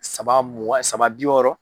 Saba mua saba bi wɔɔrɔ.